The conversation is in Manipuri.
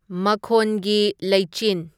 ꯃꯈꯣꯟꯒꯤ ꯂꯩꯆꯤꯟ